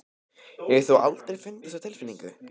Hefur þú aldrei fundið þessa tilfinningu?